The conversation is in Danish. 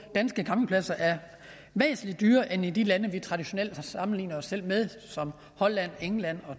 danske campingpladser er væsentlig dyrere end i de lande vi traditionelt har sammenlignet os med som holland england